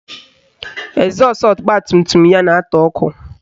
Ezọsụ ọgbatumtum ya na-atụ ọkụ